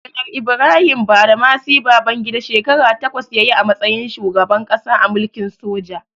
Janar Ibrahim Badamasi Babangida, shekara takwas ya yi a matsayin shugaban ƙasa a mulkin soja.